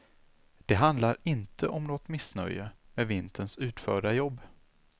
Det handlar inte om något missnöje med vinterns utförda jobb.